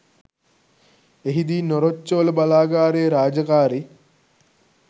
එහිදී නොරොච්චෝල බලාගාරයේ රාජකාරි